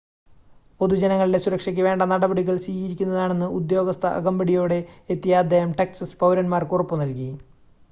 പൊതുജനങ്ങളുടെ സുരക്ഷയ്ക്ക് വേണ്ട നടപടികൾ സ്വീകരിക്കുന്നതാണെന്ന് ഉദ്യോഗസ്ഥ അകമ്പടിയോടെ എത്തിയ അദ്ദേഹം ടെക്സസ് പൗരന്മാർക്ക് ഉറപ്പ് നൽകി